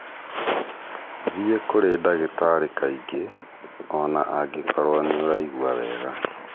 Thiĩ kũrĩ ndagĩtarĩ kaingĩ, o na angĩkorũo nĩ ũraigua wega.